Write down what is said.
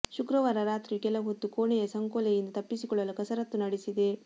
ಶುಕ್ರವಾರ ರಾತ್ರಿಯೂ ಕೆಲ ಹೊತ್ತು ಕೋಣೆಯ ಸಂಕೋಲೆಯಿಂದ ತಪ್ಪಿಸಿಕೊಳ್ಳಲು ಕಸರತ್ತು ನಡೆಸಿದೆ